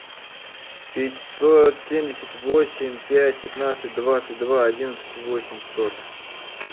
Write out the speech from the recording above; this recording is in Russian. пятьсот семьдесят восемь пять пятнадцать двадцать два одиннадцать восемьсот